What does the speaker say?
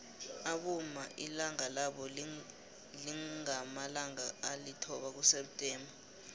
abomma ilanga labo lingamalanga alithoba kuseptember